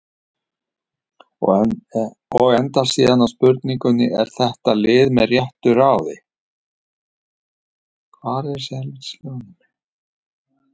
Og endar síðan á spurningunni: Er þetta lið með réttu ráði?